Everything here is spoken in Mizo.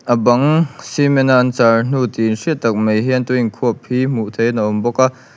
a bang cement a an charh hnu tih hriat tak mai hian tui an khuap hi hmuh theihin a awm bawk a.